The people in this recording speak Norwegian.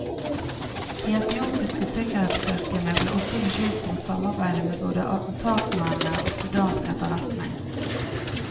De etiopiske sikkerhetsstyrkene ble også beskyldt for å samarbeide med både attentatmennene og sudansk etterretning.